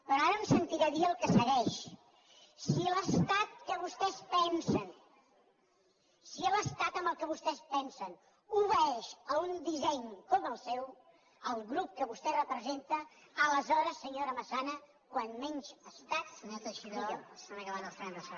però ara em sentirà dir el que segueix si l’estat que vostès pensen si l’estat en què vostès pensen obeeix a un disseny com el seu el grup que vostè representa aleshores senyora massana com menys estat millor